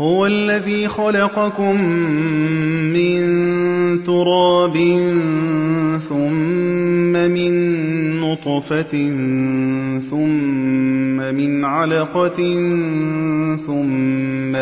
هُوَ الَّذِي خَلَقَكُم مِّن تُرَابٍ ثُمَّ مِن نُّطْفَةٍ ثُمَّ مِنْ عَلَقَةٍ ثُمَّ